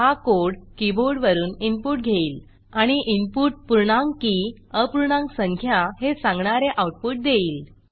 हा कोड कीबोर्डवरून इनपुट घेईल आणि इनपुट पूर्णांक की अपूर्णांक संख्या हे सांगणारे आऊटपुट देईल